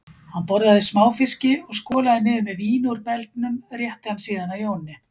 Hann borðaði smáfiski og skolaði niður með víni úr belgnum, rétti hann síðan að Jóni